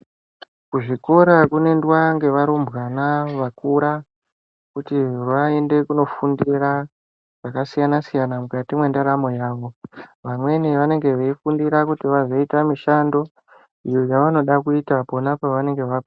Kuzvikora kunoendwa ngevarumbwana vakura kuti vaende kundofundira zvakasiyana siyana mukati mwendaramo yavo vamweni veifundira mishando iyo yavanoda kuita pona pavanonga vakura .